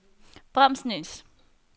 Bramsnæs